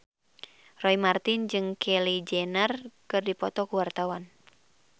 Roy Marten jeung Kylie Jenner keur dipoto ku wartawan